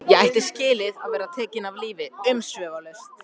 Ég ætti skilið að vera tekinn af lífi umsvifalaust.